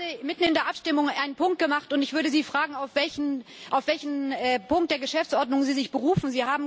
Sie haben gerade mitten in der Abstimmung einen Punkt gemacht, und ich würde Sie fragen, auf welchen Punkt der Geschäftsordnung Sie sich berufen.